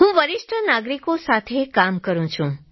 હું વરિષ્ઠ નાગરિકો સાથે કામ કરું છું